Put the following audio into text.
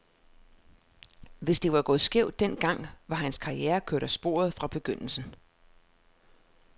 Hvis det var gået skævt den gang, var hans karriere kørt af sporet fra begyndelsen.